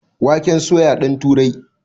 Waken soya ɗan turai